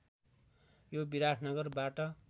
यो विराटनगरबाट